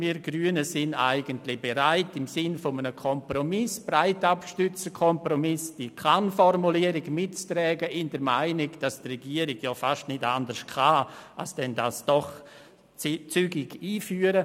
Wir Grünen sind eigentlich bereit, im Sinne eines Kompromisses, eines breit abgestützten Kompromisses, die Kann-Formulierung mitzutragen, in der Meinung, dass die Regierung fast nicht anders kann, als dies zügig einzuführen.